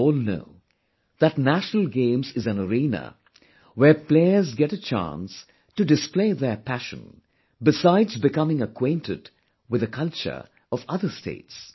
We all know that National Games is an arena, where players get a chance to display their passion besides becoming acquainted with the culture of other states